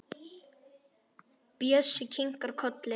Bjössi kinkar kolli.